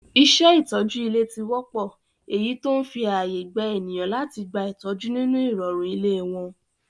Iṣẹ́ ìtọ́jú nílé ti wọ́pọ́, eyí tó ń fi ààyè gba ènìyàn láti gba ìtọ́jú nínú ìrọ̀rùn ilé wọn.